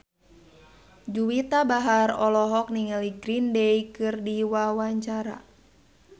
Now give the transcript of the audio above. Juwita Bahar olohok ningali Green Day keur diwawancara